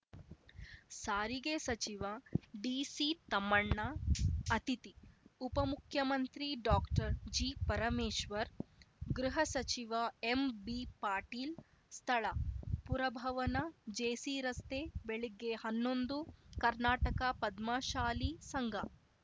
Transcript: ಸಾರಿಗೆ ಸಚಿವ ಡಿಸಿತಮ್ಮಣ್ಣ ಅತಿಥಿ ಉಪಮುಖ್ಯಮಂತ್ರಿ ಡಾಕ್ಟರ್ಜಿಪರಮೇಶ್ವರ್‌ ಗೃಹ ಸಚಿವ ಎಂಬಿಪಾಟೀಲ್‌ ಸ್ಥಳ ಪುರಭವನ ಜೆಸಿರಸ್ತೆ ಬೆಳಿಗ್ಗೆ ಹನ್ನೊಂದು ಕರ್ನಾಟಕ ಪದ್ಮಶಾಲಿ ಸಂಘ